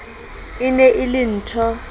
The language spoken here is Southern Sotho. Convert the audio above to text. e ne e le nthho